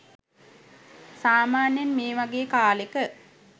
සාමාන්‍යයෙන් මේ වගේ කාලෙක